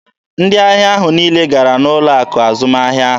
Ndị ahịa ahụ niile gara n'ụlọ akụ azụmahịa ahụ.